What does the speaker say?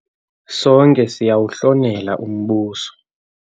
Sonke siyawuhlonela umbuso.